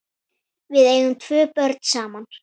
Við eigum tvö börn saman.